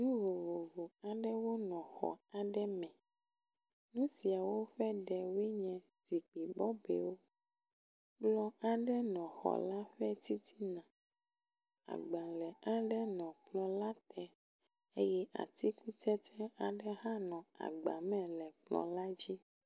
Nu vovovo aɖewo nɔ xɔ aɖe me. Nu siawo ƒe ɖewoe nye zikpui bɔbɔewo. Kplɔ aɖe nɔ xɔ la ƒe titina. Agbalẽ aɖe nɔ kplɔ la te eye atikutsetse aɖe hã nɔ agba me le kplɔ la dzi